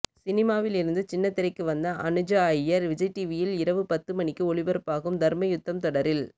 சினிமாவில் இருந்து சின்னத்திரைக்கு வந்த அனுஜா ஐயர் விஜய் டிவியில் இரவு பத்துமணிக்கு ஒளிபரப்பாகும் தர்மயுத்தம் தொடரில்